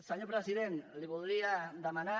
senyor president li voldria demanar